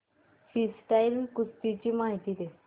freestyle कुस्ती ची माहिती दे